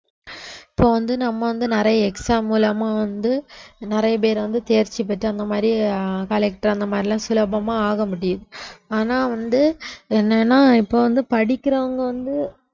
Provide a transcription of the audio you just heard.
இப்ப வந்து நம்ம வந்து நிறைய exam மூலமா வந்து நிறைய பேர் வந்து தேர்ச்சி பெற்று அந்த மாதிரி அஹ் collector அந்த மாதிரி எல்லாம் சுலபமா ஆக முடியுது ஆனா வந்து என்னன்னா இப்ப வந்து படிக்கிறவங்க வந்து